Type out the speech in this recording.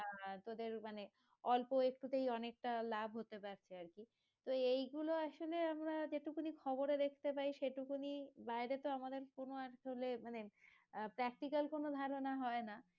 আহ তোদের মানে অল্প একটু তেই অনেকটা লাভ হতে পারছে আরকি তো এইগুলো আসলে আমরা যেই টুকুনই খবরে দেখতে পাই সেইটুকুনি বাইরে তো আমাদের কোনো অঞ্চলে মানে আহ practical কোনো ধারণা হয়না